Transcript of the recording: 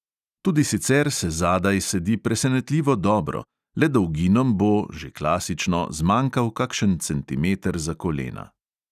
Tudi sicer se zadaj sedi presenetljivo dobro, le dolginom bo (že klasično) zmanjkal kakšen centimeter za kolena.